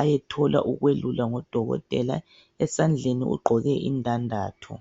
ayethola ukwelulwa ngodokotela esandleni ugqoke indandatho.